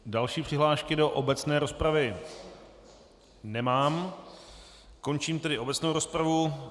Další přihlášky do obecné rozpravy nemám, končím tedy obecnou rozpravu.